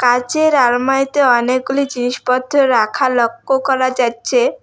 কাঁচের আলমারিতে অনেকগুলি জিনিসপত্র রাখা লক্ষ্য করা যাচ্ছে।